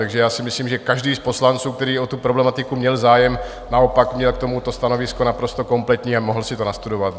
Takže já si myslím, že každý z poslanců, který o tu problematiku měl zájem, naopak měl k tomu stanovisko naprosto kompletní a mohl si to nastudovat.